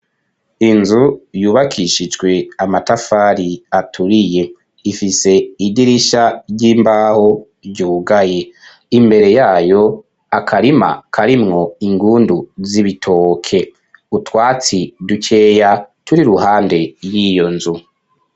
Inzu, yubakishijwe, amatafari aturiye; ifise idirisha ry'imbaho, ryugaye; imbere yayo, akarima, karimwo ingundu, z'ibitoke; utwatsi dukeya, turi iruhande, y'iyo nzu.